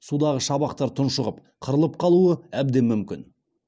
судағы шабақтар тұншығып қырылып қалуы әбден мүмкін